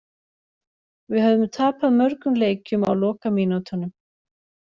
Við höfðum tapað mörgum leikjum á lokamínútunum.